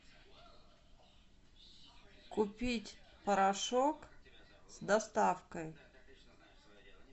купить порошок с доставкой